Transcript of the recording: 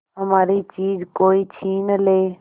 हमारी चीज कोई छीन ले